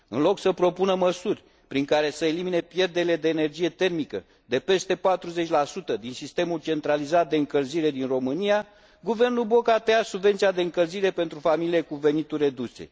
În loc să propună măsuri prin care să elimine pierderile de energie termică de peste 40 din sistemul centralizat de încălzire din România, guvernul Boc a tăiat subvenția de încălzire pentru familiile cu venituri reduse.